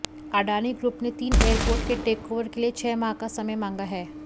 Adani group ने तीन airport के टेकओवर के लिए छह माह का समय मांगा है